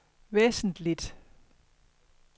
væsentligt